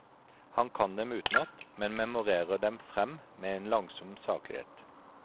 Han kan dem utenat, men memorerer dem frem med en langsom saklighet.